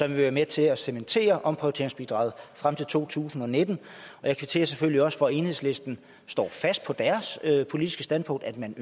vil være med til at cementere omprioriteringsbidraget frem til to tusind og nitten jeg kvitterer selvfølgelig også for at enhedslisten står fast på deres politiske standpunkt at man